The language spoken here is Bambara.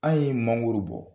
An ye mangoro bɔ